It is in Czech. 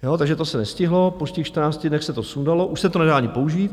Takže to se nestihlo, po těch 14 dnech se to sundalo, už se to nedá ani použít.